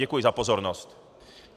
Děkuji za pozornost.